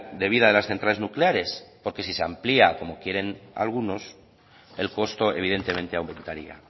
de vida de las centrales nucleares porque si se amplia como quieren algunos el costo evidentemente aumentaría